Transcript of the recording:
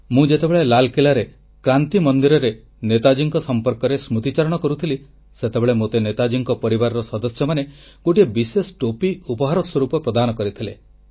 ମୁଁ ଯେତେବେଳେ ଲାଲକିଲ୍ଲାରେ କ୍ରାନ୍ତି ମନ୍ଦିରରେ ନେତାଜୀଙ୍କ ସଂପର୍କରେ ସ୍ମୃତିଚାରଣ କରୁଥିଲି ସେତେବେଳେ ମୋତେ ନେତାଜୀଙ୍କ ପରିବାରର ସଦସ୍ୟମାନେ ଗୋଟିଏ ବିଶେଷ ଟୋପି ଉପହାର ସ୍ୱରୂପ ପ୍ରଦାନ କରିଥିଲେ